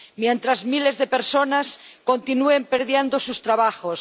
mientras miles de personas continúen perdiendo sus trabajos